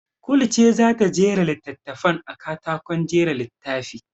Kulu ce za ta jera littattafan a katakon jera littafi.